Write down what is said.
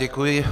Děkuji.